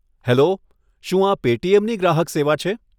Hello, શું આ પેટીએમની ગ્રાહક સેવા છે?